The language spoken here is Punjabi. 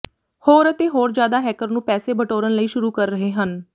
ਹੋਰ ਅਤੇ ਹੋਰ ਜਿਆਦਾ ਹੈਕਰ ਨੂੰ ਪੈਸੇ ਬਟੋਰਨ ਲਈ ਸ਼ੁਰੂ ਕਰ ਰਹੇ ਹਨ